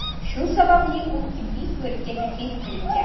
Shu sababli u tibbiy ko‘rikka taklif qilingan.